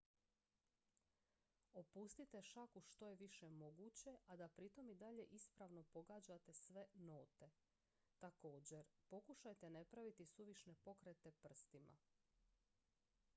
opustite šaku što je više moguće a da pritom i dalje ispravno pogađate sve note također pokušajte ne praviti suvišne pokrete prstima